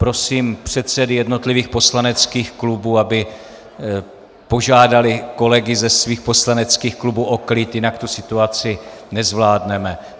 Prosím předsedy jednotlivých poslaneckých klubů, aby požádali kolegy ze svých poslaneckých klubů o klid, jinak situaci nezvládneme.